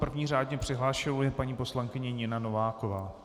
První řádně přihlášenou je paní poslankyně Nina Nováková.